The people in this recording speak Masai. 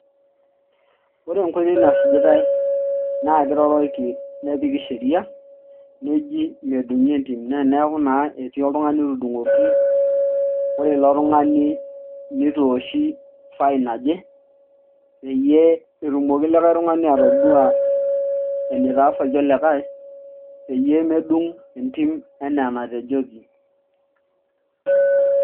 Ore enkoitoi nasujitae na kiroroki nepiki Sheria nejii medung'i entim neeku naa etii oltungani otudung'oki ore ilo tung'ani nitooshi fine naje peyie etumoki likae tung'ani atodua enitaasaki olikae peyie medung' entim enaa enatejoki